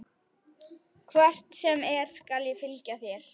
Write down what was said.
Hvert sem er skal ég fylgja þér.